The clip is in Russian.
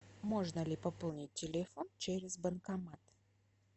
можно ли пополнить телефон через банкомат